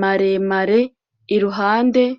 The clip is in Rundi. maremare iruhande.